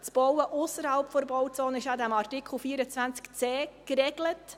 Das Bauen ausserhalb der Bauzone ist in Artikel 24c RPG geregelt.